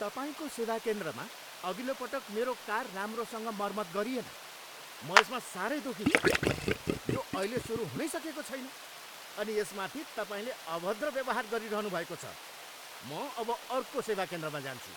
तपाईँको सेवा केन्द्रमा अघिल्लो पटक मेरो कार राम्रोसँग मर्मत गरिएन। म यसमा साह्रै दुखी छु। यो अहिले सुरु हुनै सकेको छैन अनि यसमाथि तपाईँले अभद्र व्यवहार गरिरहनुभएको छ। म अब अर्को सेवा केन्द्रमा जान्छु।